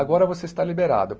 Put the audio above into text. Agora você está liberado.